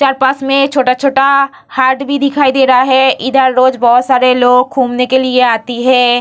चार पास में छोटा-छोटा हाट भी दिखाई दे रहा है इधर रोज बहुत सारे लोग घूमने के लिए आती है।